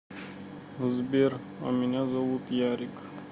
сбер а меня зовут ярик